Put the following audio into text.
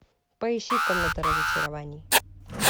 поищи комната разочарований